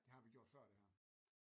Det har vi gjort før det her